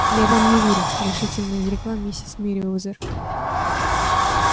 я вам не верю решительно изрекла миссис мерриуэзер